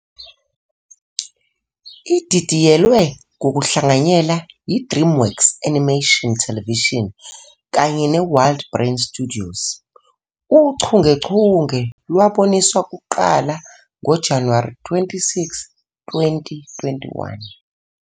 Ididiyelwe ngokuhlanganyela yi-DreamWorks Animation Television kanye neWildBrain Studios, uchungechunge lwaboniswa kuqala ngoJanuwari 26, 2021.